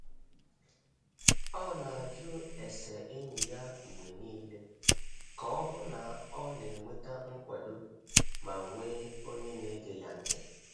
Ọ na-ajụ ese enyi ya mgbe niile ka o hụ na ọ na-enweta nkwado ma nwee onye na-ege ya ntị.